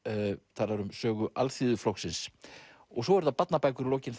talar um sögu Alþýðuflokksins svo eru það barnabækur í lokin